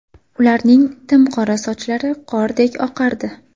Ularning tim qora sochlari qordek oqardi.